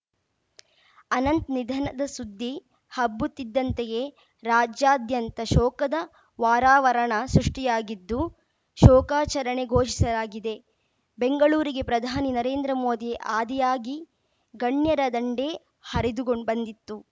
ಅನಂತ್‌ ನಿಧನದ ಸುದ್ದಿ ಹಬ್ಬುತ್ತಿದ್ದಂತೆಯೇ ರಾಜ್ಯಾದ್ಯಂತ ಶೋಕದ ವಾರಾವರಣ ಸೃಷ್ಟಿಯಾಗಿದ್ದು ಶೋಕಾಚರಣೆ ಘೋಷಿಸಲಾಗಿದೆ ಬೆಂಗಳೂರಿಗೆ ಪ್ರಧಾನಿ ನರೇಂದ್ರ ಮೋದಿ ಆದಿಯಾಗಿ ಗಣ್ಯರ ದಂಡೇ ಹರಿದುಗೊಂ ಬಂದಿತ್ತು